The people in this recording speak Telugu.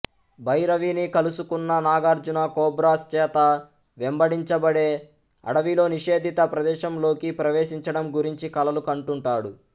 భైరవిని కలుసుకున్న నాగర్జున కోబ్రాస్ చేత వెంబడించబడే అడవిలో నిషేధిత ప్రదేశంలోకి ప్రవేశించడం గురించి కలలు కంటుంటాడు